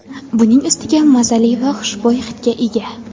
Buning ustiga mazali va xushbo‘y hidga ega.